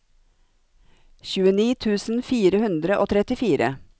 tjueni tusen fire hundre og trettifire